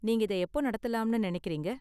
நீங்க இத எப்போ நடத்தலாம்னு நினைக்கறீங்க?